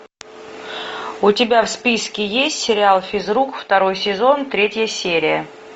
у тебя в списке есть сериал физрук второй сезон третья серия